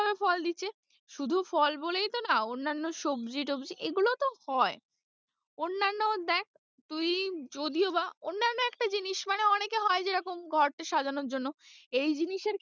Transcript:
ফল দিচ্ছে শুধু ফল বলেই তো না অন্যান্য সবজি-টবজি এগুলোও তো হয় অন্যান্য দেখ তুই যদিও বা অন্যান্য একটা জিনিস মানে অনেকে হয় যেরকম ঘর কে সাজানোর জন্য,